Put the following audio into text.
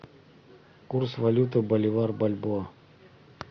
курс валюты боливар бальбоа